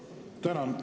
Tänan!